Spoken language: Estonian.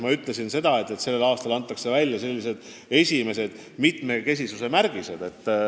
Ma ütlesin seda, et tänavu antakse välja esimesed mitmekesisuse märgised.